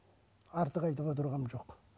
артық айтып отырғаным жоқ